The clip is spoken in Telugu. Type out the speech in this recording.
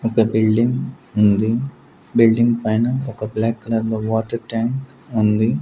ఒక బిల్డింగ్ ఉంది బిల్డింగ్ పైన ఒక బ్లాక్ కలర్ లో వాటర్ టాంక్ ఉంది.